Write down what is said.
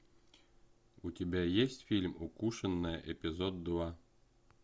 у тебя есть фильм укушенная эпизод два